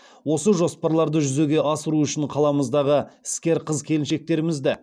осы жоспарларды жүзеге асыру үшін қаламыздағы іскер қыз келіншектерімізді